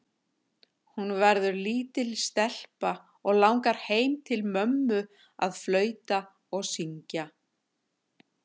Hún verður lítil stelpa og langar heim til mömmu að flauta og syngja.